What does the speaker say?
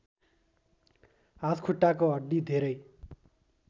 हातखुट्टाको हड्डी धेरै